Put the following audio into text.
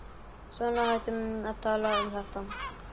Svona, hættum að tala um þetta.